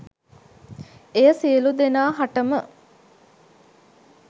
එය සියලුදෙනා හටම